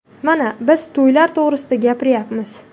Mana, biz to‘ylar to‘g‘risida gapiryapmiz.